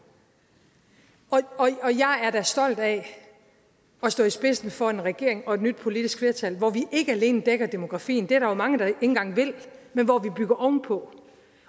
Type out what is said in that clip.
og jeg er da stolt af at stå i spidsen for en regering og et nyt politisk flertal hvor vi ikke alene dækker demografien det er der jo mange der ikke engang vil men hvor vi bygger ovenpå